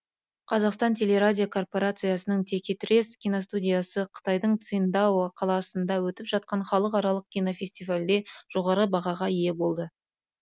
қазақстан телерадиокорпорациясының текетірес киностудиясы қытайдың циндао қаласында өтіп жатқан халықаралық кинофестивальде жоғары бағаға ие болды